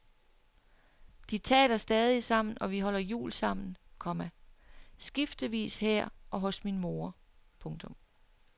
De taler stadig sammen og vi holder jul sammen, komma skiftevis her og hos min mor. punktum